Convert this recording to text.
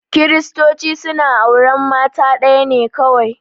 Kiristoci suna auran mata ɗaya ne kawai